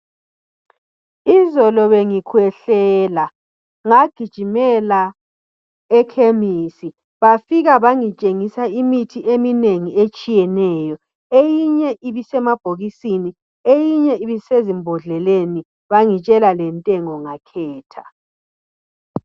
Izolo bengikhwehlela ngagijimela ekhemisi, bafika bangitshengisa imithi eminengi etshiyeneyo. Eyinye ibisemabhokisini, eyinye ibisezimbodleleni. Bangitshela lentengo ngakhetha.